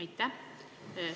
Aitäh!